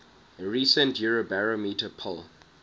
recent eurobarometer poll